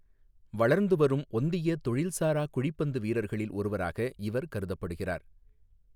வளர்ந்து வரும் ஒந்திய தொழில்சாரா குழிப்பந்து வீரர்களில் ஒருவராக இவர் கருதப்படுகிறார்.